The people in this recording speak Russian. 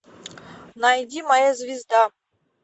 найди моя звезда